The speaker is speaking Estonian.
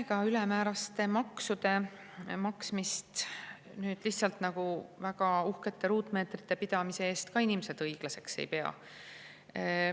Ega ülemääraste maksude maksmist lihtsalt nagu väga uhkete ruutmeetrite pidamise eest ka inimesed õiglaseks ei pea.